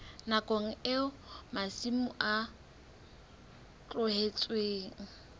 nakong eo masimo a tlohetsweng